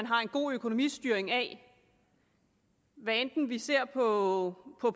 har en god økonomistyring af hvad enten vi ser på